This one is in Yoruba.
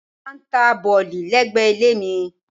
Wọ́n máà ń ta bọ̀lì lẹ́gbẹ̀ẹ́ ilé mi.